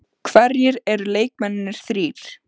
Hverjir eru leikmennirnir þrír?